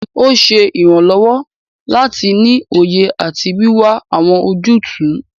Ó ṣe ìrànlọ́wọ́ láti ní òye àti wíwá àwọn ojútùú.